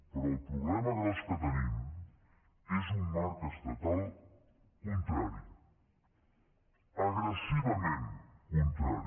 però el problema gran que tenim és un marc estatal contrari agressivament contrari